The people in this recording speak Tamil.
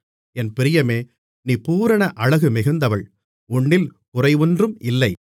என் பிரியமே நீ பூரண அழகுமிகுந்தவள் உன்னில் குறையொன்றும் இல்லை